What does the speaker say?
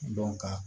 ka